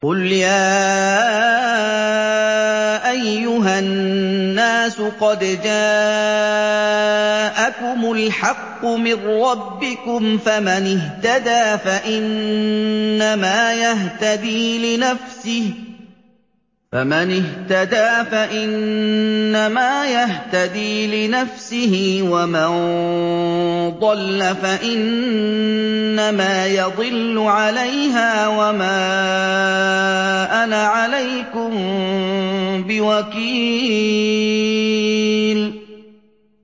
قُلْ يَا أَيُّهَا النَّاسُ قَدْ جَاءَكُمُ الْحَقُّ مِن رَّبِّكُمْ ۖ فَمَنِ اهْتَدَىٰ فَإِنَّمَا يَهْتَدِي لِنَفْسِهِ ۖ وَمَن ضَلَّ فَإِنَّمَا يَضِلُّ عَلَيْهَا ۖ وَمَا أَنَا عَلَيْكُم بِوَكِيلٍ